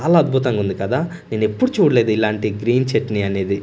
చాలా అద్భుతంగా ఉంది కదా నేనెప్పుడూ చూడలేదు ఇలాంటి గ్రీన్ చట్నీ అనేది.